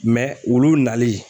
wulu nali